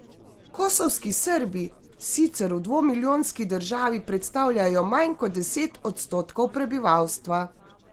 Kosovski Srbi sicer v dvomilijonski državi predstavljajo manj kot deset odstotkov prebivalstva.